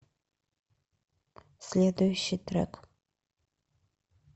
следующий трек